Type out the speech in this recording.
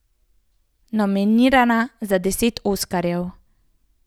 Nominirana za deset oskarjev.